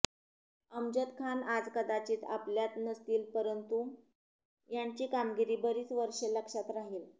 अमजद खान आज कदाचित आपल्यात नसतील परंतु त्यांची कामगिरी बरीच वर्षे लक्षात राहिल